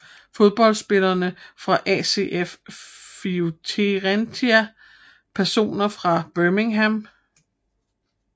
Fodboldspillere fra ACF Fiorentina Personer fra Birmingham